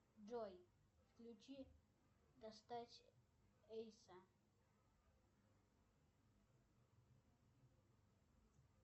джой включи достать эйса